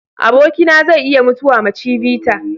Abokina zai iya mutuwa ma chivita.